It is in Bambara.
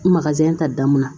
ta dan mun na